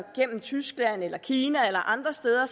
gennem tyskland eller kina eller andre steder